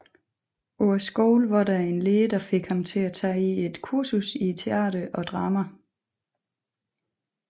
På skolen var der en lærer der fik ham til at tage et kursus i teater og drama